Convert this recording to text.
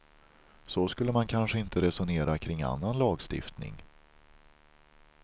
Så skulle man kanske inte resonera kring annan lagstiftning.